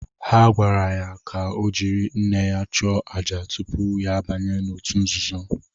Ha gwara ya ka ọ jiri nne ya chụọ àjà tupu ya abanye n’òtù nzuzo.